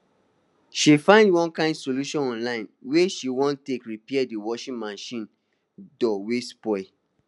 she find one kain solution online wey she wan take repair d washing machine door wey spoil